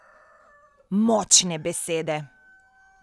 Močne besede!